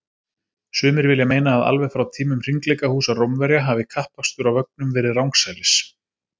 Sumir vilja meina að alveg frá tímum hringleikahúsa Rómverja hafi kappakstur á vögnum verið rangsælis.